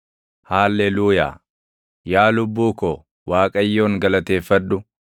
Haalleluuyaa. Yaa lubbuu ko, Waaqayyoon galateeffadhu.